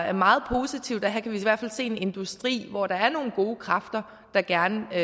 er meget positivt og her kan vi i hvert fald se en industri hvor der er nogle gode kræfter der gerne vil